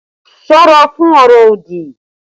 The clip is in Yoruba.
Ṣọ́ra fún ọ̀rọ̀ òdì!